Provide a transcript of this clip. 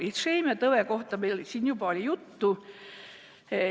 Isheemiatõvest siin juba oli juttu.